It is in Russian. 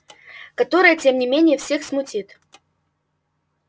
которое тем не менее всех смутит